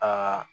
Aa